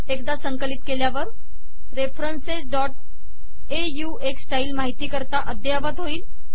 एकदा संकलित केल्यावर referencesऑक्स स्टाईल माहिती करता अद्ध्ययावत होईल